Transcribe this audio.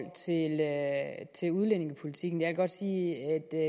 til udlændingepolitikken jeg kan godt sige